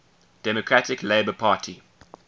democratic labour party